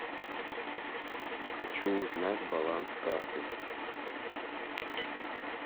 хочу узнать баланс карты